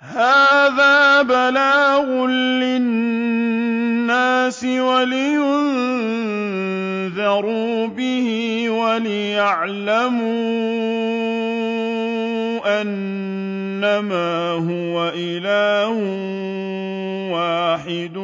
هَٰذَا بَلَاغٌ لِّلنَّاسِ وَلِيُنذَرُوا بِهِ وَلِيَعْلَمُوا أَنَّمَا هُوَ إِلَٰهٌ وَاحِدٌ